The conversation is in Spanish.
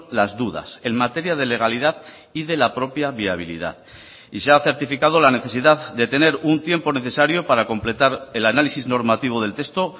las dudas en materia de legalidad y de la propia viabilidad y se ha certificado la necesidad de tener un tiempo necesario para completar el análisis normativo del texto